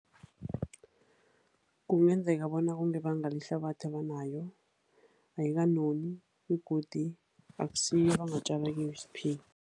Kungenzeka bona kungebanga lehlabathi abanayo ayikanoni begodu akusiyo abangatjala kiyo isiphila.